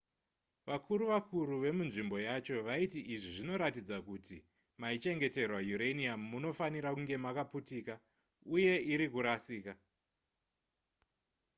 vakuru vakuru vemunzvimbo yacho vaiti izvi zvinoratidza kuti maichengeterwa uranium munofanira kunge makaputika uye iri kurasika